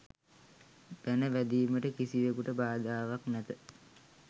බැන වැදීමට කිසිවෙකුට බාධාවක් නැත.